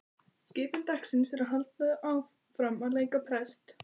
Skipun dagsins er því að halda áfram að leika prest.